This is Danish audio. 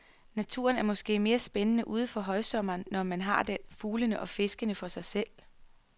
Naturen er måske mere spændende uden for højsommeren, når man har den, fuglene og fiskene for sig selv.